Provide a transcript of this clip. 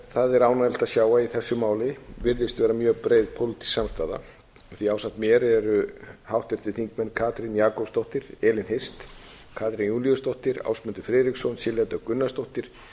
það er ánægjulegt að sjá að í þessu máli virðist vera mjög breið pólitísk samstaða því ásamt mér eru háttvirtur þingmaður katrín jakobsdóttir elín hirst katrín júlíusdóttir ásmundur friðriksson silja dögg gunnarsdóttir